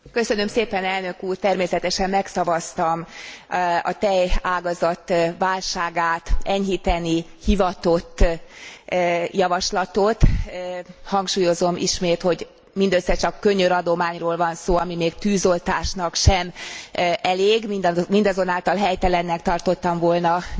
Természetesen magszavaztam a tejágazat válságát enyhíteni hivatott javaslatot, hangsúlyozom ismét, hogy mindössze csak könyöradományról van szó, ami még tűzoltásnak sem elég, mindazonáltal helytelennek tartottam volna nemmel szavazni.